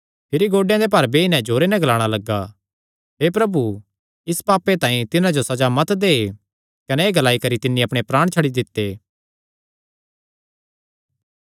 भिरी गोड्डे दे भार बेई नैं जोरे नैं ग्लाणा लग्गा हे प्रभु इस पापे तांई तिन्हां जो सज़ा मत दे कने एह़ ग्लाई करी तिन्नी अपणे प्राण छड्डी दित्ते